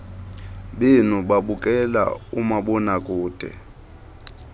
benu babukela umabonakude